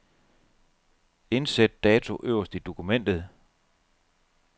Indsæt dato øverst i dokumentet.